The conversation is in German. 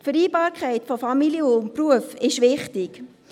Die Vereinbarkeit von Familie und Beruf ist wichtig.